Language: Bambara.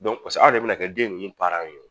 Dɔnku pase aw de be na kɛ den nunnu paranw ye wo